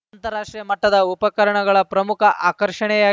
ಅಂತಾರಾಷ್ಟ್ರೀಯ ಮಟ್ಟದ ಉಪಕರಣಗಳ ಪ್ರಮುಖ ಆಕರ್ಷಣೆಯಾ